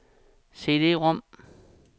CD-rom